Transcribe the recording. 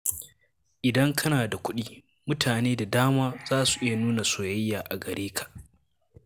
Idan kana da kuɗi, mutane da dama za su iya nuna soyayya a gare ka.